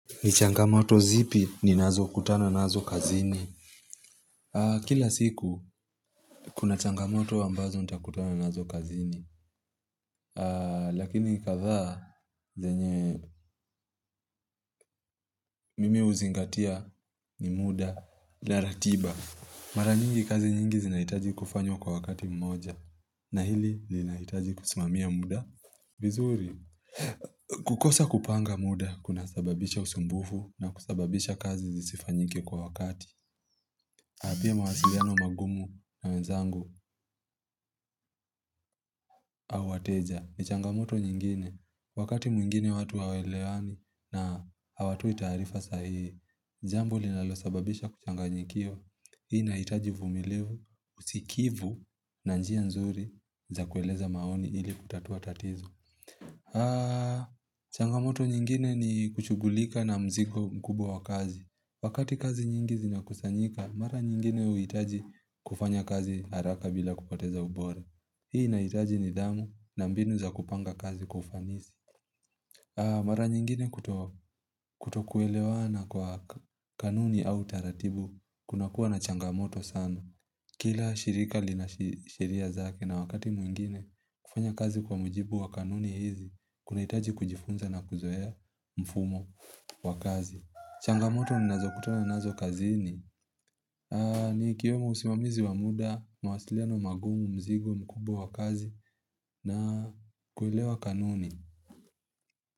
Ni changamoto zipi ninazo kutana nazo kazini Kila siku kuna changamoto ambazo nita kutano nazo kazini Lakini kadhaa zenye Mimi huzingatia ni muda la ratiba Mara nyingi kazi nyingi zinahitaji kufanywa kwa wakati mmoja na hili linahitaji kusimamia muda vizuri kukosa kupanga muda kuna sababisha usumbufu na kusababisha kazi zisifanyike kwa wakati Haapia mawasiliano mangumu na menzangu au wateja ni changamoto nyingine. Wakati mwingine watu hawelewani na hawatoi taarifa sahihi, jambo linalosababisha kuchanganyikiwa. Hii inahitaji uvumilivu, usikivu na njia nzuri za kueleza maoni ili kutatua tatizo. Haa, changamoto nyingine ni kushugulika na mzigo mkubwa wa kazi. Wakati kazi nyingi zina kusanyika, mara nyingine huhitaji kufanya kazi haraka bila kupoteza ubore. Hii inahitaji nidhamu na mbinu za kupanga kazi kwa ufanisi. Mara nyingine kutokuelewana kwa kanuni au taratibu, kunakua na changamoto sana. Kila shirika lina sheria zake na wakati mwingine kufanya kazi kwa mujibu wa kanuni hizi, kunahitaji kujifunza na kuzoea mfumo wa kazi. Changamoto ninazo kutana nazo kazini. Ni ikiwemo usimamizi wamuda, mawasiliano magumu, mzigo, mkubwa wa kazi na kwelewa kanuni.